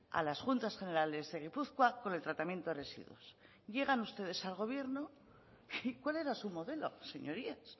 a las juntas generales de gipuzkoa con el tratamiento de residuos llegan ustedes al gobierno cuál era su modelo señorías